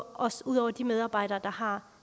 også ud over de medarbejdere der har